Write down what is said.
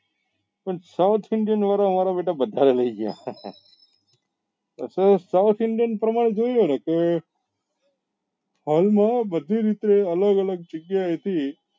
પણ south indian વાળા હારા બેટા બધા લઇ ગયા તો south indian પ્રમાણે જોઈએ ને કે હાલ માં બધી રીતે અલગ અલગ જગ્યા એ થી